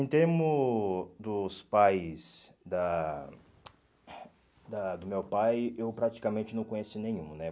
Em termo dos pais da da do meu pai, eu praticamente não conheço nenhum, né?